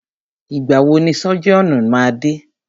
Ìgbà wọ ni sọ́jíọ̀nù máa dé?